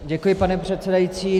Děkuji, pane předsedající.